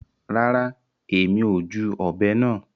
Rárá, Èmi o júù òbé náà